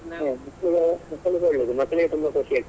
ಈಗ ಮಕ್ಕಳಿಗೆ ಒಳ್ಳೇದು ಮಕ್ಕಳಿಗೆ ತುಂಬಾ ಖುಷಿ ಆಗ್ತದೆ .